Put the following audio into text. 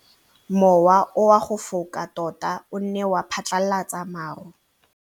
Mowa o wa go foka tota o ne wa phatlalatsa maru.